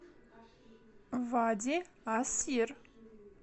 вади ас сир